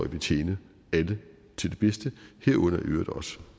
vil tjene alle til det bedste herunder i øvrigt også